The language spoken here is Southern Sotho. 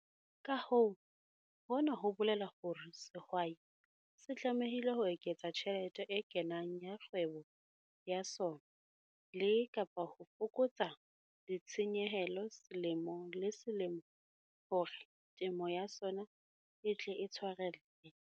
Ka hoo, hona ho bolela hore sehwai se tlamehile ho eketsa tjhelete e kenang ya kgwebo ya sona le, kapa ho fokotsa ditshenyehelo selemo le selemo hore temo ya sona e tle e tshwarelle.